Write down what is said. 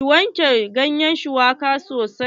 Ki wanke ganyen shuwaka sosai.